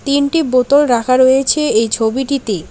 তিনটি বোতল রাখা রয়েছে এই ছবিটিতে।